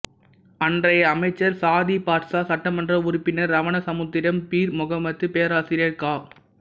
அன்றைய அமைச்சர் சாதிக் பாட்சா சட்டமன்ற உறுப்பினர் ரவண சமுத்திரம் பீர் முஹம்மது பேராசிரியர் கா